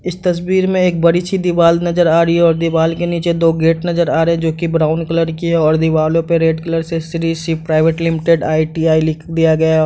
इस तस्वीर में एक बड़ी सी दीवाल नजर आ रही है और दीवाल के नीचे दो गेट नजर आ रहें हैं जो की ब्राउन कलर की है और दीवालों पे रेड कलर से Shri Shiv private limited ITI. लिख दिया गया --